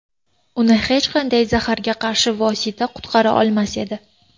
Uni hech qanday zaharga qarshi vosita qutqara olmas edi.